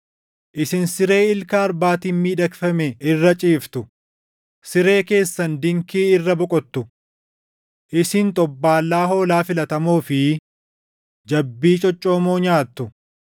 Isin siree ilka arbaatiin miidhagfame irra ciiftu; siree keessan dinkii irra boqottu. Isin xobbaallaa hoolaa filatamoo fi jabbii coccoomoo nyaattu.